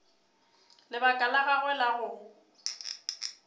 lebaka la gagwe la go